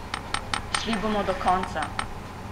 Šli bomo do konca!